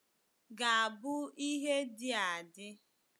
ga-abụ ihe dị adị.